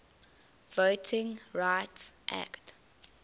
voting rights act